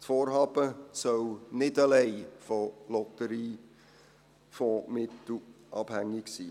Das Vorhaben soll nicht allein von Lotteriefondsmitteln abhängig sein.